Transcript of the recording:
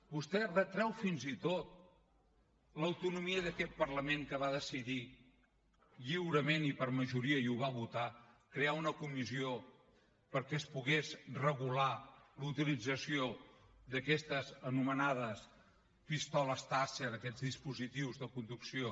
vostè retreu fins i tot l’autonomia d’aquest parlament que va decidir lliurement i per majoria i ho va votar crear una comissió perquè es pogués regular la utilització d’aquestes anomenades pistoles taser aquests dispositius de conducció